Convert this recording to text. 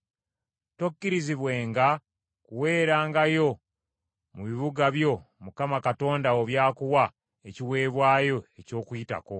Tokkirizibwenga kuweerangayo mu bibuga byo Mukama Katonda wo by’akuwa, ekiweebwayo eky’Okuyitako,